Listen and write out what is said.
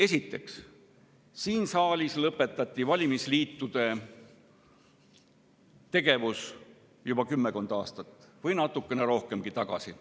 Esiteks, siin saalis lõpetati valimisliitude tegevus juba kümmekond aastat või natuke rohkemgi aega tagasi.